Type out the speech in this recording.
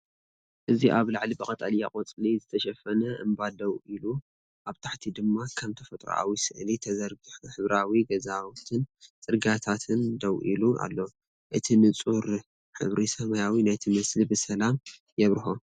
እዚ ኣብ ላዕሊ ብቀጠልያ ቆጽሊ ዝተሸፈነ እምባ ደው ኢሉ፡ ኣብ ታሕቲ ድማ ከም ተፈጥሮኣዊ ስእሊ ተዘርጊሑ ሕብራዊ ገዛውትን ጽርግያታትን ደው ኢሉ ኣሎ። እቲ ንጹር ሕብሪ ሰማይ ነቲ ምስሊ ብሰላም የብርሆ።